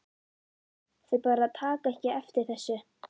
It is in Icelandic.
Þau bara taka ekki eftir þessu.